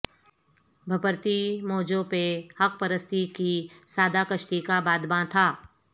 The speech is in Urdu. بپھرتی موجوں پہ حق پرستی کی سادہ کشتی کا بادباں تھا